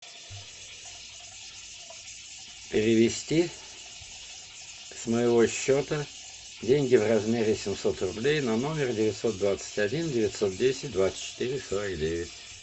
перевести с моего счета деньги в размере семьсот рублей на номер девятьсот двадцать один девятьсот десять двадцать четыре сорок девять